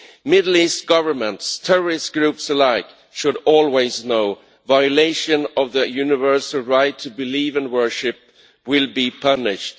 Middle East governments terrorist groups alike should always know violation of the universal right to believe and worship will be punished.